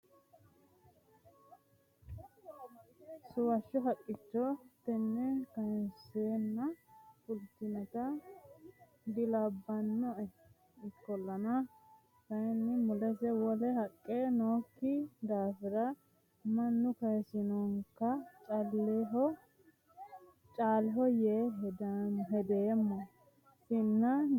Suwasho haqqicho tene kayinsenna fultinotta dilabbanoe ikkollanna kayinni mulese wole haqqe nooyikki daafira mannu kayisinokka caaleho yee hedommo sinna duucha afidhino.